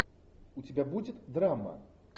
у тебя будет драма